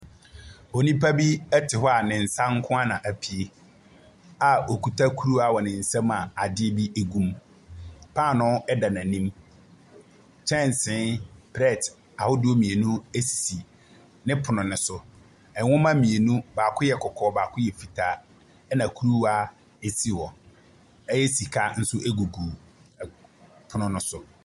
Onipa bi te hɔ z ne nsa nko ara na apue a ɔkuta kuruwa wɔ ne nsa mu a adeɛ bi gu mu. Paano da n'anim. Kyɛnsee plɛte ahodoɔ mmienu si ne pono no so. Nwoma mmienu, baako yɛ kɔkɔɔ, baako yɛ fitaa, ɛna kuruwaa si hɔ. Ɛyɛ, sika nsop gugu ɛ pono no so.